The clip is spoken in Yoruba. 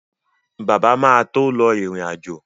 Bàbá máa tó lọ ìrìn-àjò